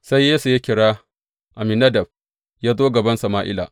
Sai Yesse ya kira Abinadab yă zo gaban Sama’ila.